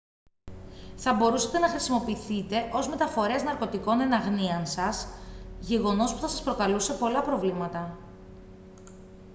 θα μπορούσατε να χρησιμοποιηθείτε ως μεταφορέας ναρκωτικών εν αγνοία σας γεγονός που θα σας προκαλούσε πολλά προβλήματα